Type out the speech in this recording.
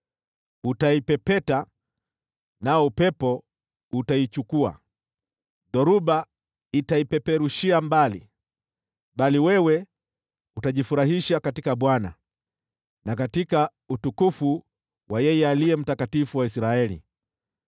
Utaipepeta, nao upepo utaichukua, dhoruba itaipeperushia mbali. Bali wewe utajifurahisha katika Bwana na katika utukufu wa yeye Aliye Mtakatifu wa Israeli.